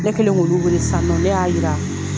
Ne kɛlen k'olu wele sisan nɔ ne y'a yira.